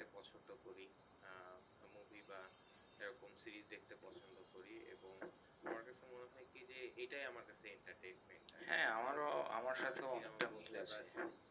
ছোটো করি আহ Movie বা এই রকম series দেখতে পছন্দ করি এবং আমার কাছে মনে হয় কি যে এটাই আমার কাছে Entertainment